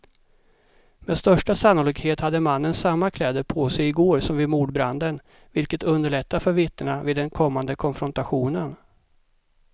Med största sannolikhet hade mannen samma kläder på sig i går som vid mordbranden, vilket underlättar för vittnena vid den kommande konfrontationen.